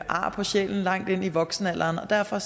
ar på sjælen langt ind i voksenalderen og derfor